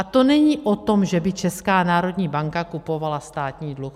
A to není o tom, že by Česká národní banka kupovala státní dluh.